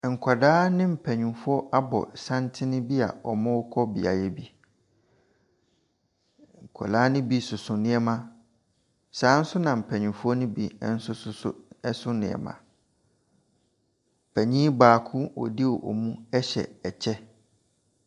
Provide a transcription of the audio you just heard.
Nkwadaa ne mpaninfoɔ abɔ santene bia wɔrekɔ beaeɛ bi. Nkwadaa no bi soso nneema saa nso na mpanyinfoɔ no bi ɛnso soso nneema. Panyin baako a wɔdi wɔn mu ɛhyɛ ɛkyɛ.